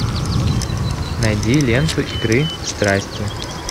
найди ленту игры страсти